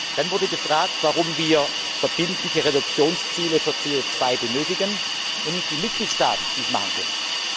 Dann wurde gefragt, warum wir verbindliche Reduktionsziele für CO 2 benötigen und nicht die Mitgliedstaaten dies machen können.